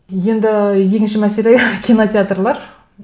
енді екінші мәселе кинотеатрлар